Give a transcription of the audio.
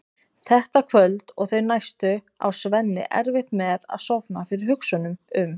Þetta kvöld og þau næstu á Svenni erfitt með að sofna fyrir hugsunum um